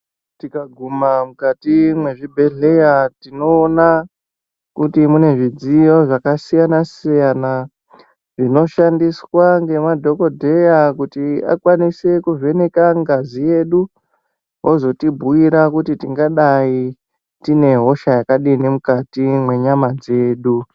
Tika guma mukati me zvibhedhleya tinoona kuti mune zvidziyo zvaka siyana siyana zvino shandiswa ne madhokoteya kuti vakwanise ku vheneka ngazi yedu vozoti bhuyira kuti tingadai tine hosha yakadi mukati me nyama yedu.